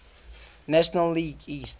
national league east